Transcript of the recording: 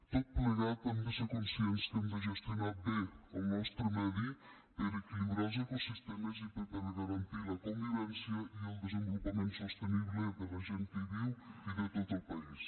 tot plegat hem de ser conscients que hem de gestionar bé el nostre medi per equilibrar els ecosistemes i per garantir la convivència i el desenvolupament sostenible de la gent que hi viu i de tot el país